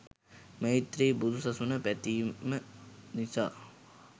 මෛත්‍රී බුදු සසුන පැතීම නිසා